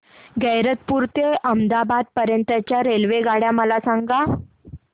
गैरतपुर ते अहमदाबाद पर्यंत च्या रेल्वेगाड्या मला सांगा